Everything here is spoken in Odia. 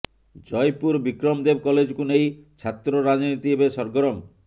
ଜୟପୁର ବିକ୍ରମ ଦେବ କଲେଜକୁ ନେଇ ଛାତ୍ର ରାଜନୀତି ଏବେ ସରଗରମ